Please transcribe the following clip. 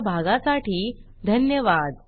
सहभागासाठी धन्यवाद